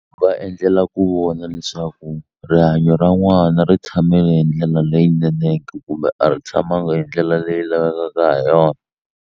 Va endlela ku vona leswaku rihanyo ra n'wana ri tshamele hi ndlela leyinene ke kumbe a ri tshamanga hi ndlela leyi lavekaka ha yona.